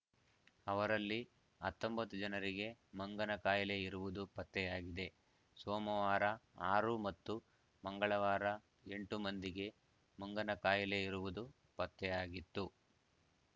ಅವರಲ್ಲಿ ಹತ್ತೊಂಬತ್ತು ಜನರಿಗೆ ಮಂಗನ ಕಾಯಿಲೆ ಇರುವುದು ಪತ್ತೆಯಾಗಿದೆ ಸೋಮವಾರ ಆರು ಮತ್ತು ಮಂಗಳವಾರ ಎಂಟು ಮಂದಿಗೆ ಮಂಗನಕಾಯಿಲೆ ಇರುವುದು ಪತ್ತೆಯಾಗಿತ್ತು